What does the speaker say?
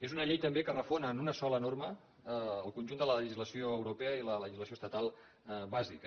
és una llei també que refon en una sola norma el conjunt de la legislació europea i la legislació estatal bàsica